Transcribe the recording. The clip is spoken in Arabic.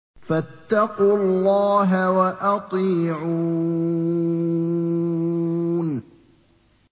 فَاتَّقُوا اللَّهَ وَأَطِيعُونِ